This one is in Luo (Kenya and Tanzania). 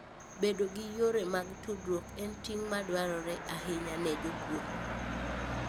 Bedo gi yore mag tudruok en ting' maduong' ahinya ne jopur.